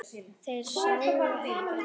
Þeir sáu ekkert.